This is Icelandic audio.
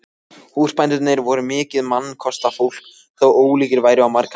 Húsbændurnir voru mikið mannkostafólk þó ólíkir væru á margan máta.